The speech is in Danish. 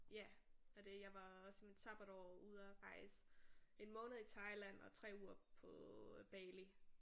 Ja og det jeg var også i mit sabbatår ude og rejse en måned i Thailand og 3 uger på Bali